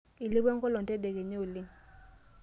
Eilepua enkolong' tedekenya oleng.